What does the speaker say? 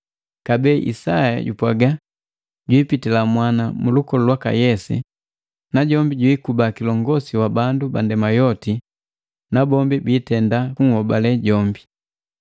Kabee Isaya jupwaga, “Jwiipitila mwana mulukolu lwaka Yese, najombi jwikuba kilongosi wa bandu bandema yoti, nabombi biitenda kunhobale jombi.”